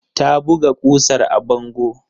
Ta buga ƙusar a bango.